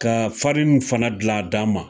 Ka farini fana gilan a d'an ma